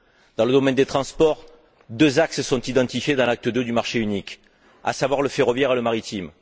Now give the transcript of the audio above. Dans le domaine des transports, deux axes sont identifiés dans l'acte II du marché unique, à savoir le ferroviaire et le maritime.